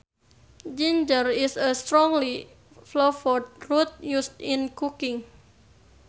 Ginger is a strongly flavored root used in cooking